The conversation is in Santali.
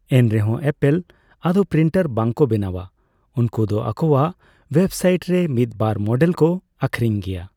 ᱮᱱᱨᱮᱦᱚᱸ ᱮᱯᱮᱞ ᱟᱫᱚ ᱯᱨᱤᱱᱴᱟᱨ ᱵᱟᱝᱠᱚ ᱵᱮᱱᱟᱣᱟᱸ, ᱩᱱᱠᱚ ᱫᱚ ᱟᱠᱚᱣᱟᱜ ᱳᱭᱵᱽᱥᱟᱭᱤᱴ ᱨᱮ ᱢᱤᱫᱵᱟᱨ ᱢᱚᱰᱮᱞ ᱠᱚ ᱟᱹᱠᱷᱨᱤᱧᱼᱜᱮᱭᱟ ᱾